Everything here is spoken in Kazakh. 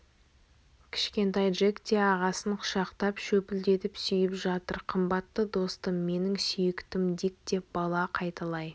кішкентай джек те ағасын құшақтап шөпілдетіп сүйіп жатыр қымбатты достым менің сүйіктім дик деп бала қайталай